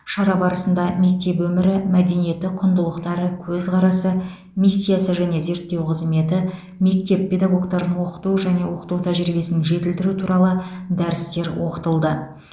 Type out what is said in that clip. шара барысында мектеп өмірі мәдениеті құндылықтары көзқарасы миссиясы және зерттеу қызметі мектеп педагогтарын оқыту және оқыту тәжірибесін жетілдіру туралы дәрістер оқытылды